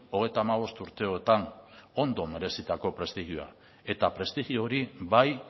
hogeita hamabost urteetan ondo merezitako prestigioa eta prestigio hori bai